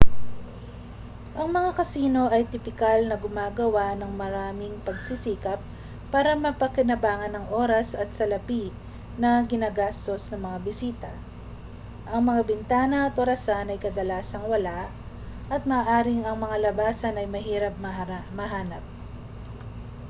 ang mga kasino ay tipikal na gumagawa ng maraming pagsisikap para mapakinabangan ang oras at salapi na ginagastos ng mga bisita ang mga bintana at orasan ay kadalasang wala at maaaring ang mga labasan ay mahirap mahanap